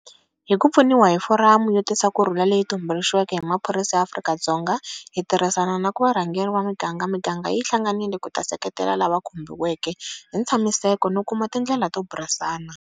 Hi ku pfuniwa hi foramu yo tisa kurhula leyi tumbuxiweke hi maphorisa ya Afrika-Dzonga hi tirhisana na varhangeri va miganga, miganga yi hlanganile ku ta seketela lava khumbiweke hi nkatshamiseko no kuma tindlela to burisana.